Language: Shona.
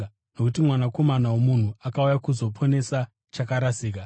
Nokuti Mwanakomana woMunhu akauya kuzoponesa chakarasika.